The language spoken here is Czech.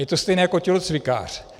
Je to stejné jako tělocvikář.